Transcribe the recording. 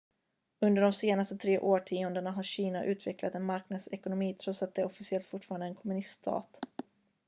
under de senaste tre årtiondena har kina utvecklat en marknadsekonomi trots att det officiellt fortfarande är en kommuniststat